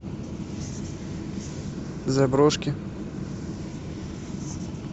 заброшки